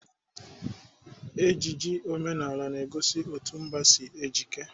Ejiji omenala na-egosi etu mba si ejike.